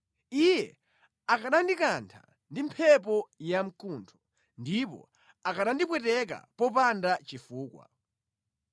Iye akanandikantha ndi mphepo yamkuntho, ndipo akanandipweteka popanda chifukwa.